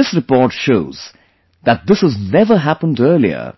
This report shows that this has never happened earlier